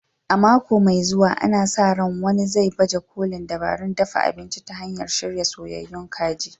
A mako mai zuwa, ana sa ran wani zai baje kolin dabarun dafa abinci ta hanyar shirya soyayyun kaji.